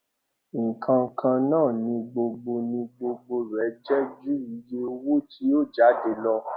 nǹkan kan náà ni gbogbo ni gbogbo rẹ jẹ ju iye owó tí ó jáde lọ